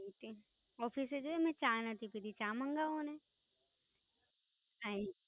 Oak Office જોવોને મેં ચા નથી પીધી. ચા મંગાવોને, Thanks